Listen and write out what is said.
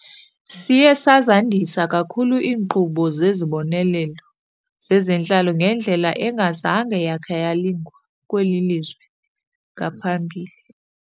Siye sazandisa kakhulu iinkqubo zezibonelelo zezentlalo ngendlela engazange yakha yalingwa kweli lizwe ngaphambili.